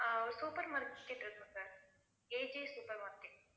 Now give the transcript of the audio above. ஆஹ் ஒரு supermarket இருக்கு sir AJ supermarket